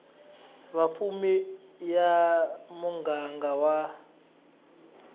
va vapfuni ya muganga wa